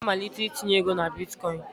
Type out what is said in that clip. M ga-amalite itinye ego na bịtkọ̀ín